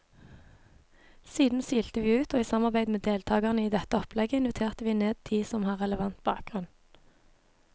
Siden silte vi ut, og i samarbeid med deltagerne i dette opplegget inviterte vi ned de som har relevant bakgrunn.